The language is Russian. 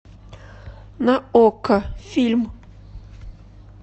на окко фильм